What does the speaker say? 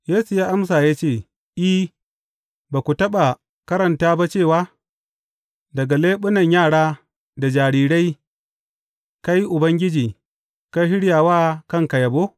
Yesu ya amsa ya ce, I, ba ku taɓa karanta ba cewa, Daga leɓunan yara da jarirai kai, Ubangiji, ka shirya wa kanka yabo’?